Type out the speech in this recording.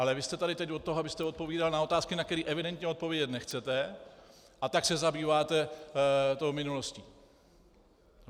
Ale vy jste tady teď od toho, abyste odpovídal na otázky, na které evidentně odpovědět nechcete, a tak se zabýváte tou minulostí.